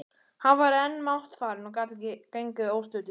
Hann var enn máttfarinn og gat ekki gengið óstuddur.